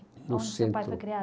Onde o seu pai foi criado?